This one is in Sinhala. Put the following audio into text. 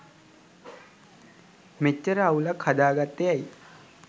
මෙච්චර අවුලක් හදාගත්තෙ ඇයි.